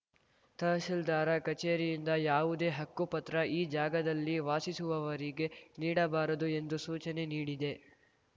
ತಹಸೀಲ್ದಾರ ಕಚೇರಿಯಿಂದ ಯಾವುದೆ ಹಕ್ಕುಪತ್ರ ಈ ಜಾಗದಲ್ಲಿ ವಾಸಿಸುವವರಿಗೆ ನೀಡಬಾರದು ಎಂದು ಸೂಚನೆ ನೀಡಿದೆ